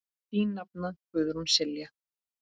Þín nafna, Guðrún Silja.